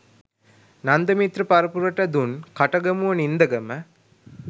නන්දිමිත්‍ර පරපුරට දුන් කටගමුව නින්දගම